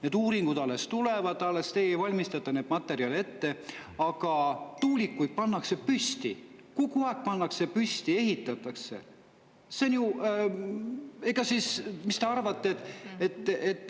Need uuringud alles tulevad, teie alles valmistate neid materjale ette, aga tuulikuid pannakse püsti, kogu aeg pannakse püsti, ehitatakse.